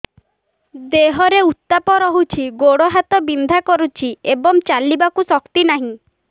ଦେହରେ ଉତାପ ରହୁଛି ଗୋଡ଼ ହାତ ବିନ୍ଧା କରୁଛି ଏବଂ ଚାଲିବାକୁ ଶକ୍ତି ନାହିଁ